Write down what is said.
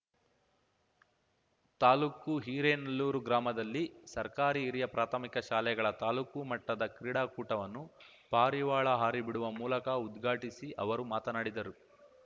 ತಾಲೂಕು ಹಿರೇನಲ್ಲೂರು ಗ್ರಾಮದಲ್ಲಿ ಸರ್ಕಾರಿ ಹಿರಿಯ ಪ್ರಾಥಮಿಕ ಶಾಲೆಗಳ ತಾಲೂಕು ಮಟ್ಟದ ಕ್ರೀಡಾಕೂಟವನ್ನು ಪಾರಿವಾಳ ಹಾರಿ ಬಿಡುವ ಮೂಲಕ ಉದ್ಘಾಟಿಸಿ ಅವರು ಮಾತನಾಡಿದರು